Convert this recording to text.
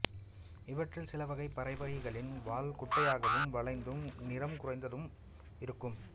இவற்றில் சிலவகைப் பறவைகளின் வால் குட்டையாகவும் வளைந்தும் நிறம் குறைந்தும் இருக்கும்